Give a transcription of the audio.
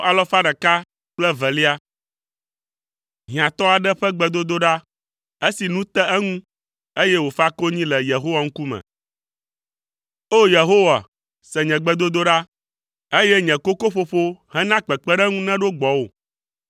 Hiãtɔ aɖe ƒe gbedodoɖa, esi nu te eŋu, eye wòfa konyi le Yehowa ŋkume. O! Yehowa, se nye gbedodoɖa, eye nye kokoƒoƒo hena kpekpeɖeŋu neɖo gbɔwò.